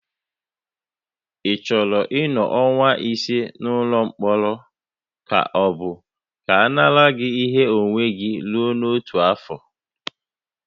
Ị chọrọ ịnọ ọnwa ise n'ụlọ mkpọrọ ka ọ bụ ka a nara gị ihe onwunwe gị rue otu afọ?